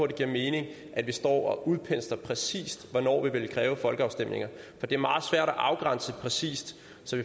det giver mening at vi står og udpensler præcist hvornår vi vil kræve folkeafstemninger for det er meget svært at afgrænse præcist